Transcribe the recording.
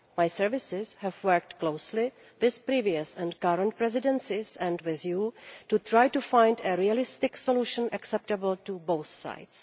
My services have worked closely with previous and current Presidencies and with this House to try to find a realistic solution acceptable to both sides.